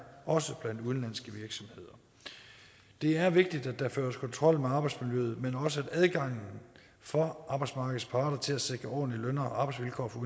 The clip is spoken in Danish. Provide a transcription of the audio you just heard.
også blandt udenlandske virksomheder det er vigtigt at der føres kontrol med arbejdsmiljøet men også at adgangen for arbejdsmarkedets parter til at sikre ordentlige løn og arbejdsvilkår for